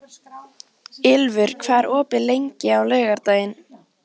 Ylfur, hvað er opið lengi á laugardaginn?